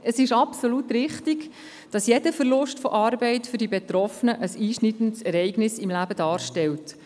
Es ist absolut richtig, dass jeder Verlust von Arbeit für die Betroffenen ein einschneidendes Ereignis im Leben darstellt.